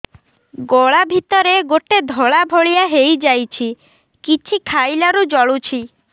ଗଳା ଭିତରେ ଗୋଟେ ଧଳା ଭଳିଆ ହେଇ ଯାଇଛି କିଛି ଖାଇଲାରୁ ଜଳୁଛି